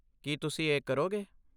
ਕੀ ਤੁਸੀਂ ਇਹ ਕਰੋਗੇ?